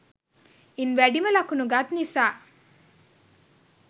ඉන් වැඩිම ලකුණු ගත් නිසා